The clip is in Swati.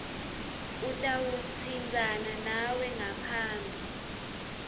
utawutsintsana nawe ngaphambi